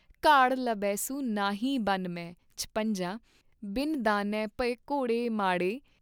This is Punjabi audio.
ਘਾੜ ਲਭੇ ਸੁ ਨਾਹੀ ਬਨ ਮੇਂ ॥ਛਪੰਜਾ ॥ ਬਿਨੁ ਦਾਨੇ ਭਏ ਘੋੜੇ ਮਾੜੇ।